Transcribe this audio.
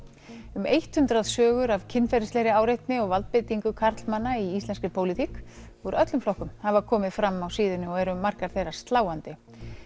um hundrað sögur af kynferðislegri áreitni og valdbeitingu karlmanna í íslenskri pólitík úr öllum flokkum hafa komið fram á síðunni og eru margar þeirra sláandi